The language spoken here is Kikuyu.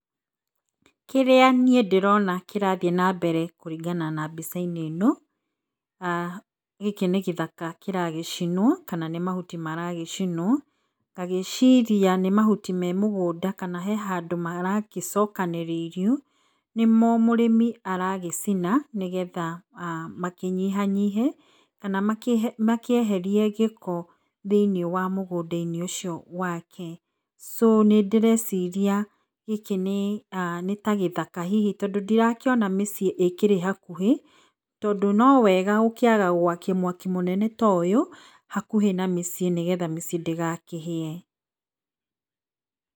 Kĩrĩa niĩ ndĩrona kĩrathiĩ na mbere kũringana na mbica-inĩ ĩno, aah gĩkĩ nĩ gĩthaka kĩra gĩcinwo kana nĩ mahuti maragĩcinwo, ngagĩciria nĩ mahuti me mũgũnda kana me handũ maragĩcokanĩrĩirio, nĩ mo mũrĩmi aragĩcina, nĩgetha makĩnyihanyihe kana makĩeherie gĩko thĩiniĩ wa mũgũnda -inĩ ũcio wake. So nĩndĩreciria gĩkĩ nĩta gĩthaka hihi tondũ ndĩrakĩona mĩciĩ ĩkĩrĩ hakuhĩ, tondũ no wega gũkĩaga gwakia mwaki mũnene ta ũyũ hakuhĩ na mĩciĩ nĩgetha ndĩgakĩhĩe.